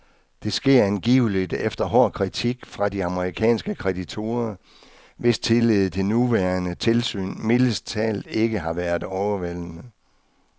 Det sker angiveligt efter hård kritik fra de amerikanske kreditorer, hvis tillid til det nuværende tilsyn mildest talt ikke har været overvældende.